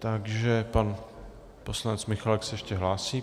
Takže pan poslanec Michálek se ještě hlásí.